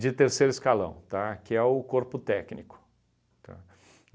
de terceiro escalão, tá, que é o corpo técnico, tá?